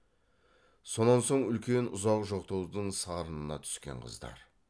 сонан соң үлкен ұзақ жоқтаудың сарынына түскен қыздар